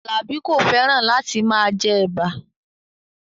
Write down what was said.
Alabi ko feran lati maa je eba